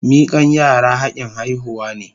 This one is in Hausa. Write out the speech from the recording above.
Mikan yara hakin haihuwa ne.